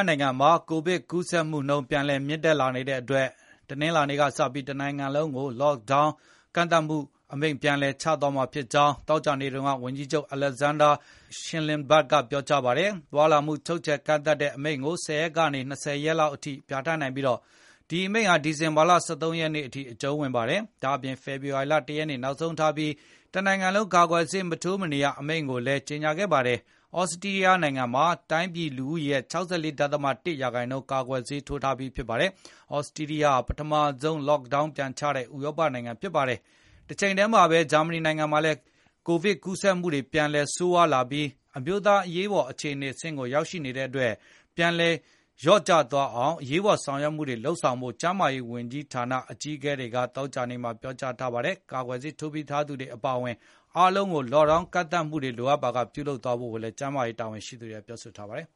နိုင်ငံမှာ ကိုဗစ်ကူးဆက်မှုနှုန်းပြန်လည်မြင့်တက်လာနေတဲ့အတွက် တနင်္လာနေ့ ကစတင်ပြီး တနိုင်ငံလုံးကို Lockdown သွားလာမှု့ကန့်သတ်တဲ့အမိန့်ကိုပြန်လည်ချမှတ်မှာဖြစ် ကြောင်း သောကြာနေ့က ဝန်ကြီးချုပ် Alexander Schallenberg ကပြောကြားလိုက် ပါတယ်။ သွားလာမှချုပ်ချယ်ကန့်သတ်တဲ့အမိန့်ကို ၁၀ ရက်ကနေ ရက်၂၀ လောက်အထိပြဌာန်းနိုင်ပြီး ဒီအမိန့်ဟာ ဒီဇင်ဘာလ ၁၃ ရက်နေ့အထိအကြုံးဝင်ပါတယ်။ ဒါ့အပြင် ဖေဖေါ်ဝါရီလ ၁ ရက်နေ့နောက်ဆုံးထားပြီး တနိုင်ငံလုံးကာကွယ်ဆေးမထိုးမနေရ အမိန့်ကိုလည်းကြေညာခဲ့ပါတယ်။ သြစတြီးယားနိုင်ငံမှာ တိုင်းပြည်လူဦးရေရဲ့ ၆၄. ၁ ရာခိုင်နှုန်း ကာကွယ်ဆေးထိုးပြီးသားဖြစ်ပါတယ်။ သြစတြီးယားဟာ ပထမဆုံး lockdown ပြန်ချတဲ့ ဥရောပနိုင်ငံဖြစ်ပါတယ်။ တချိန်တည်းမှာဘဲ ဂျာမဏီနိုင်ငံမှာလည်း ကိုဗစ်ကူးစက်မှုတွေဟာ ပြန်လည်ဆိုးရွားလာပြီး အမျိုးသားအရေးအပေါ် အခြေအနေဆင့်ကိုရောက်ရှိနေတဲ့အတွက် ပြန်လည်လျော့ကျသွား အောင်အရေးပေါ်ဆောင်ရွက်မှုတွေလုပ်ဖို့ ဂျာမန်ကျန်းမာရေးဌာနအကြီးအကဲတွေက သောကြာနေ့မှာ ပြောကြားလိုက်ပါတယ်။ ကာကွယ်ဆေးထိုးပြီးသူတွေအပါအဝင် အားလုံးကိုသွားလာမှုကန့်သတ်အမိန့် Lockdown ပြန်လည်သတ်မှတ်ဖို့နဲ့ အခြားလိုအပ်တာတွေဆောင်ရွက်ဖို့ ကျန်းမာရေးတာဝန်ရှိသူတွေက ပြောဆိုထားပါတယ်